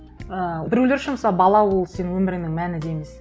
ыыы біреулер үшін мысалы бала ол сенің өміріңнің мәні дейміз